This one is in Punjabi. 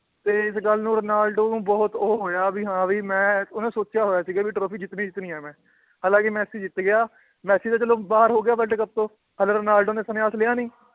ਤੇ ਇਸ ਗੱਲ ਨੂੰ ਰੋਨਾਲਡੋ ਨੂੰ ਬਹੁਤ ਉਹ ਹੋਇਆ ਵੀ ਹਾਂ ਵੀ ਮੈਂ ਉਹਨੇ ਸੋਚਿਆ ਹੋਇਆ ਸੀਗਾ ਵੀ trophy ਜਿੱਤਣੀ ਜਿੱਤਣੀ ਹੈ ਮੈਂ, ਹਾਲਾਂਕਿ ਮੈਸੀ ਜਿੱਤ ਗਿਆ, ਮੈਸੀ ਤਾਂ ਚਲੋ ਬਾਹਰ ਹੋ ਗਿਆ world ਕੱਪ ਤੋਂ ਰੋਨਾਲਡੋ ਨੇ